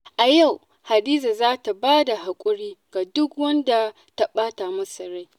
Yau Hadiza za ta ba da haƙuri ga duk wanda ta ɓata masa rai.